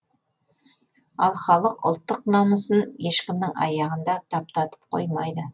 ал халық ұлттық намысын ешкімнің аяғында таптатып қоймайды